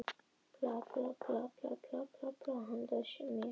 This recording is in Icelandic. Fólk sem opnaði heimili sín og bjó um rúm handa mér.